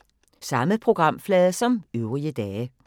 Samme programflade som øvrige dage